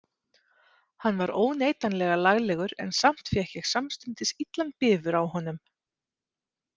Hann var óneitanlega laglegur en samt fékk ég samstundis illan bifur á honum.